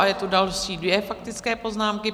A jsou tu další dvě faktické poznámky.